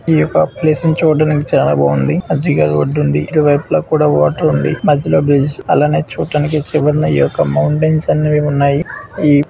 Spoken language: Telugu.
ఈ యొక్క ప్లేసు ను చూడ్డానికి చాలా బాగుంది. మధ్యలో రోడ్డు ఉంది. ఇరువైపులా కూడా వాటర్ ఉంది. మధ్యలో బ్రిడ్జ్ అలానే చూడ్డానికి చివరన ఈ యొక్క మౌంటెన్స్ అనేవి ఉన్నాయి.